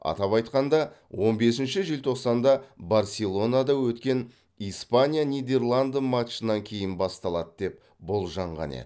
атап айтқанда он бесінші желтоқсанда барселонада өткен испания нидерланды матчынан кейін басталады деп болжанған еді